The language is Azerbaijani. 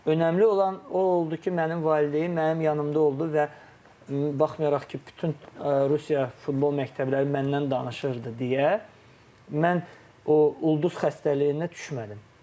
Önemli olan o oldu ki, mənim valideynim mənim yanımda oldu və baxmayaraq ki, bütün Rusiya futbol mərkəbləri məndən danışırdı deyə mən o ulduz xəstəliyinə düşmədim.